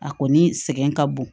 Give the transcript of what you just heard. A kɔni sɛgɛn ka bon